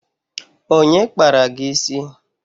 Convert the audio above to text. Onye kpara gị isi?